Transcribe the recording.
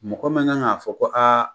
Mɔgɔ ma kan k"a fɔ ko aa